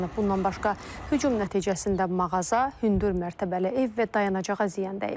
Bundan başqa hücum nəticəsində mağaza, hündür mərtəbəli ev və dayanacağa ziyan dəyib.